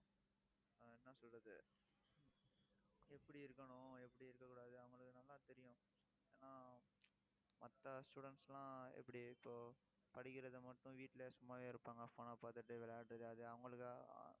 ஆஹ் என்ன சொல்றது எப்படி இருக்கணும், எப்படி இருக்கக் கூடாது அவங்களுக்கு நல்லா தெரியும். ஆனா மத்த students எல்லாம் எப்படி இப்போ படிக்கிறதை மட்டும், வீட்டுல சும்மாவே இருப்பாங்க. phone அ பார்த்துட்டு விளையாடுறது அது அவங்களுக்~